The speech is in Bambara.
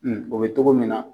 o be togo min na